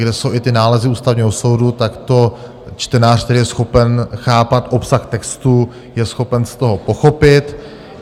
Kde jsou i ty nálezy Ústavního soudu, tak to čtenář, který je schopen chápat obsah textu, je schopen z toho pochopit.